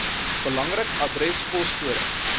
belangrik adres poskode